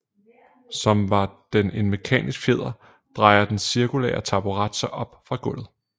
Som var den en mekanisk fjeder drejer den cirkulære taburet sig op fra gulvet